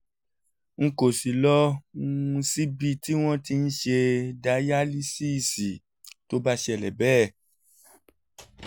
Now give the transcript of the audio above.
n kò ní lọ um síbi tí wọ́n ti ń ṣe dayalísíìsì tó bá ṣẹlẹ̀ bẹ́ẹ̀